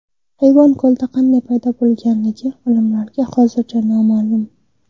Hayvonlar ko‘lda qanday paydo bo‘lganligi olimlarga hozircha noma’lum.